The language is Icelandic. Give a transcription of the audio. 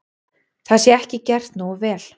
Það sé ekki gert nógu vel.